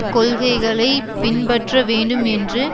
கொள்கைகளை பின்பற்ற வேண்டும் என்று